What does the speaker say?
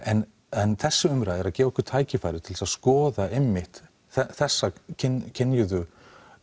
en en þessi umræða er að gefa okkur tækifæri til þess að skoða einmitt þessa kynjuðu